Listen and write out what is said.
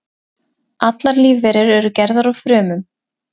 Allar lífverur eru gerðar úr frumum.